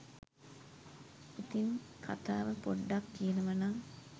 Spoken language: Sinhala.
ඉතින් කතාව පොඩ්ඩක් කියනව නම්